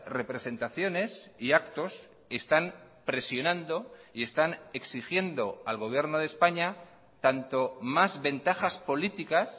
representaciones y actos están presionando y están exigiendo al gobierno de españa tanto más ventajas políticas